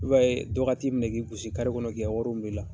I b'a ye dɔ k'a t'i minɛ k' i gosi kare kɔnɔ k'i ka wari bɛ minɛ ila